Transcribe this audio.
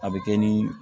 A bɛ kɛ ni